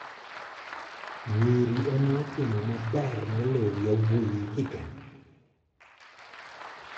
Nyiri ema otimo maber moloyo yawuowi higani.